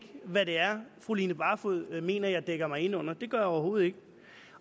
hvad det er fru line barfod mener at jeg dækker mig ind under for det gør jeg overhovedet ikke